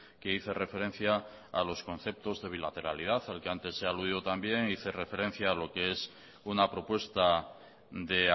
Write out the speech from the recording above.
que hice referencia a los conceptos de bilateralidad al que antes he aludido también hice referencia a lo que es una propuesta de